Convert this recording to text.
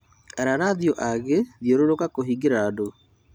Ararathio agi thiũrũrũka kuhingĩrĩria andu